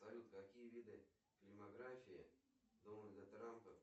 салют какие виды фильмографии дональда трампа